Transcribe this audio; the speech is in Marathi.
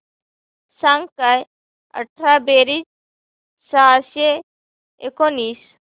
सांग काय अठरा बेरीज सहाशे एकोणीस